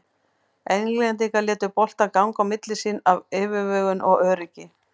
Englendingar létu boltann ganga á milli sín af yfirvegun og öryggi.